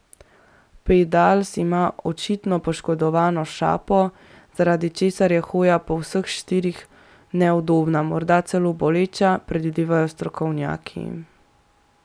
Pedals ima očitno poškodovano šapo, zaradi česar je hoja po vseh štirih neudobna, morda celo boleča, predvidevajo strokovnjaki.